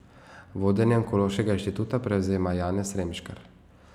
Vodenje Onkološkega inštituta prevzema Janez Remškar.